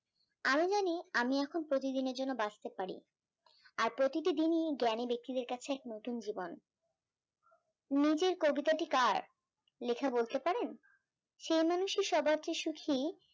আমি জানি আমি এখন প্রতিদিনের জন্য বাঁচতে পারি, আর প্রতিটি দিনই জ্ঞানী ব্যক্তিদের কাছে এক নতুন জীবন, নিজের কবিতাটি কার লেখা বলতে পারেন? সে মানুষই সবার চে সুখি যে